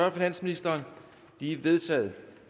af finansministeren de er vedtaget